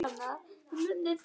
Við munum hittast síðar.